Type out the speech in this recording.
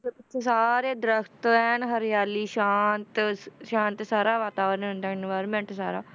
ਸਾਰੇ ਦਰੱਖਤ ਐਨ ਹਰਿਆਲੀ ਸ਼ਾਂਤ ਸ~ ਸ਼ਾਂਤ ਸਾਰਾ ਵਾਤਾਵਰਨ ਹੁੰਦਾ environment ਸਾਰਾ,